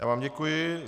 Já vám děkuji.